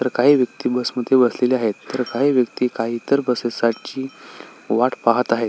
तर काही व्यक्ति बस मध्ये बसलेल्या आहेत तर काही व्यक्ति इतर बस ची वाट पाहत आहेत.